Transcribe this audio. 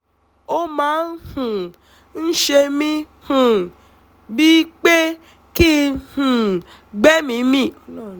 ó máa um ń ṣe mí um bíi pé kí n um gbẹ́mìí mì